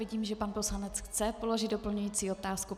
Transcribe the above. Vidím, že pan poslanec chce položit doplňující otázku.